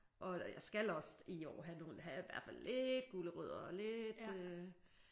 Og jeg skal også i år have nogle have i hvert fald have lidt gulerødder og lidt